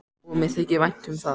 Og mér þykir vænt um það.